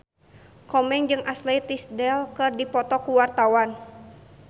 Komeng jeung Ashley Tisdale keur dipoto ku wartawan